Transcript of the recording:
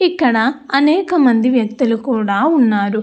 ఇక్కడ అనేక మంది వ్యక్తులు కూడా ఉన్నారు.